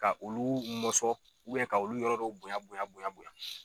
Ka olu mɔsɔn ka olu yɔrɔ dɔw bonya bonya bonya bonya.